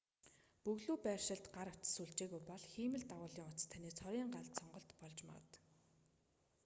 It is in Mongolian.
бөглүү байршилд гар утас сүлжээгүй бол хиймэл дагуулын утас таны цорын ганц сонголт болж магад